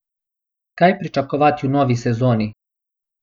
Kaj pričakovati v novi sezoni?